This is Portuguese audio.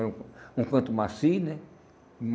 Um canto macio, né?